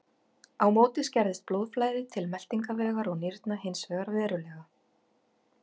Á móti skerðist blóðflæði til meltingarvegar og nýrna hins vegar verulega.